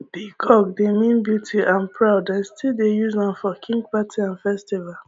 peacock dey mean beauty and proud dem still dey use am for king party and festival